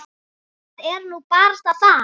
Það er nú barasta það.